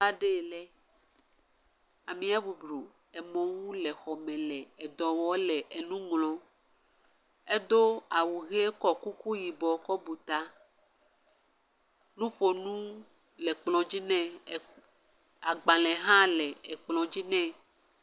Teƒa ɖee lɛ. Amea boblo emɔ ŋu le exɔme le edɔ wɔɔ le enu ŋlɔ. Edo awu ʋee kɔ kuku yibɔ kɔ bu taa. Nuƒonu le kplɔ̃dzi nɛ. ɛɛ agbalẽ hã le ekplɔ̃dzi nɛ.